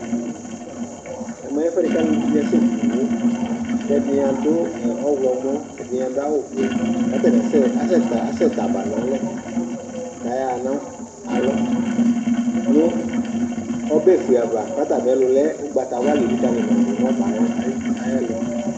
ɛmɛ ɛfuɛ k'uluvi di ni asɛ ku iwo, k'ɛdini adu ɔwlumɔ, ɛdini adu awu vɛ k'atani asɛ asɛ t'aba n'alɛ k'ayaɣa nu alɔ nu ɔbɛ fue ava k'ata mi'ɛlu lɛ ugbata wla lelikali ma du nu ɔbɛ ayɛ ayɛ lu